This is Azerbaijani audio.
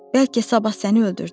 Bəlkə sabah səni öldürdülər.